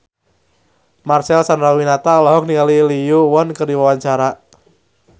Marcel Chandrawinata olohok ningali Lee Yo Won keur diwawancara